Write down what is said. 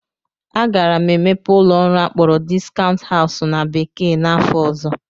Aga m emepe ụlọ ọrụ akpọrọ "discount house" na bekee n'afọ ọzọ